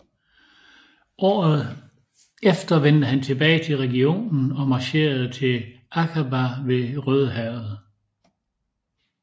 Året efter vendte han tilbage til regionen og marcherede til Akaba ved Rødehavet